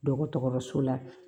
Dɔgɔtɔrɔso la